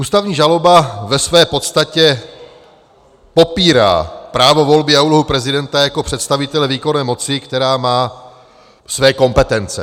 Ústavní žaloba ve své podstatě popírá právo volby a úlohu prezidenta jako představitele výkonné moci, která má své kompetence.